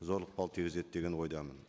зор ықпал тигізеді деген ойдамын